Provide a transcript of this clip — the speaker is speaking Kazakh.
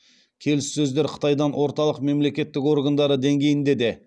келіссөздер қытайдың орталық мемлекеттік органдары деңгейінде де